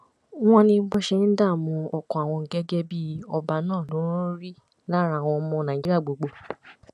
wọn ní bó ṣe ń dààmú ọkàn àwọn gẹgẹ bíi ọba náà ló ń rí lára àwọn ọmọ nàìjíríà gbogbo